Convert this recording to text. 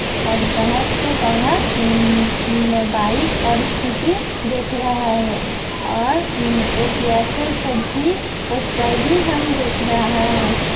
ओर बहुत से बहार म बाईक और स्कूटी देख रहा है और एक एयरटेल फोर जी पोस्टर भी हम देख रहा है।